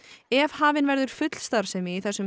ef hafin verður full starfsemi í þessum